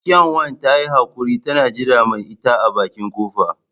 Kyanwa ta yi haquri tana jiran mai ita a bakin kofa.